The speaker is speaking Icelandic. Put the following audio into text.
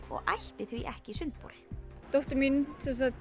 og ætti því ekki sundbol dóttir mín